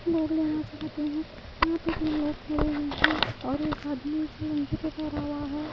लोग लेना चाहते है यहां पे दो लोग खड़े हुए हैं और एक आदमी जो है।